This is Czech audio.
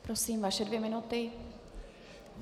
Prosím, vaše dvě minuty.